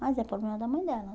Mas é problema da mãe dela,